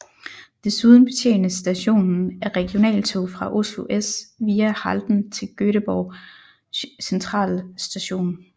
Desuden betjenes stationen af regionaltog fra Oslo S via Halden til Göteborg centralstation